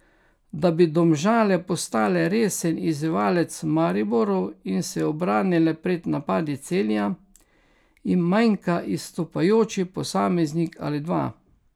Da bi Domžale postale resen izzivalec Mariboru in se ubranile pred napadi Celja, jim manjka izstopajoči posameznik ali dva.